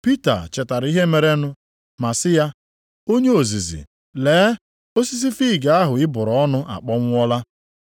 Pita chetara ihe merenụ ma sị ya, “Onye ozizi, lee! Osisi fiig ahụ ị bụrụ ọnụ akpọnwụọla!”